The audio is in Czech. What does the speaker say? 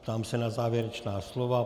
Ptám se na závěrečná slova.